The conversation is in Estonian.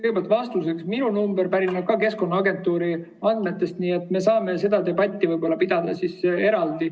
Kõigepealt vastuseks: minu number pärineb ka Keskkonnaagentuuri andmetest, nii et me saame seda debatti võib-olla pidada eraldi.